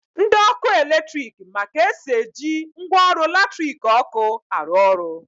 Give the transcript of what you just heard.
Ndi ọkụ eletrik ma ka esi eji ngwaọrụ latiriki ọkụ arụ orụ